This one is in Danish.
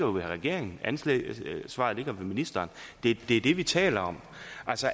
hos regeringen ansvaret ligger ministeren det er det vi taler om